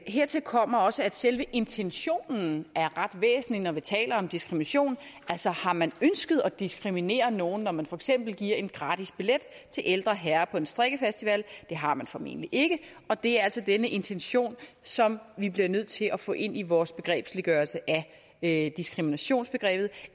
hertil kommer også at selve intentionen er ret væsentlig når vi taler om diskrimination altså har man ønsket at diskriminere nogen når man for eksempel giver gratis billetter til ældre herrer på en strikkefestival det har man formentlig ikke og det er altså denne intention som vi bliver nødt til at få ind i vores begrebsliggørelse af diskriminationsbegrebet